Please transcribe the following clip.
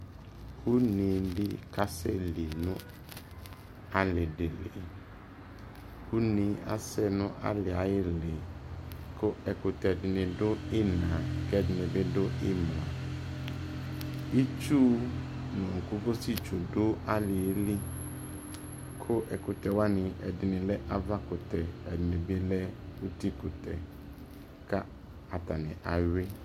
ʋnɛɛ di kasɛ nʋ ali dili ʋnɛɛ asɛ nʋ aliɛ ayili kʋ ɛkʋtɛ dini dʋ ʒnaa kʋ ɛdini bi dʋ imla, itsu nʋ kɔkɔsi tsu du aliɛ li, kʋ ɛkʋtɛ wani ɛdini lɛ aɣa kʋtɛ ɛdini bi lɛ ʋti kʋtɛ kʋ atani awii